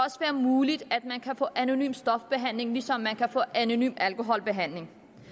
muligt at man kan få anonym stofbehandling ligesom man kan få anonym alkoholbehandling